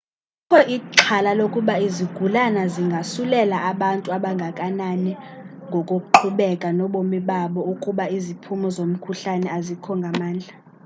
kukho ixhala lokuba izigulana zingasulelaa abantu abangakumbi ngokuqhubeka nobomi babo ukuba iziphumo zomkhuhlane azikho ngamandla